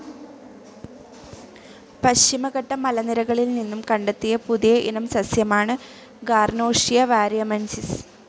പശ്ചിമഘട്ട മലനിരകളിൽ നിന്നും കണ്ടെത്തിയ പുതിയ ഇനം സസ്യമാണ് ഗാർനോഷിയ വാരിയമെൻസിസ്.